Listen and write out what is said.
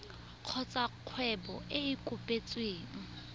kgotsa kgwebo e e kopetsweng